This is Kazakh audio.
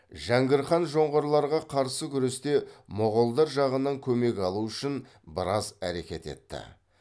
жәңгір хан жоңғарларға қарсы күресте моғолдар жағынан көмек алу үшін біраз әрекет етті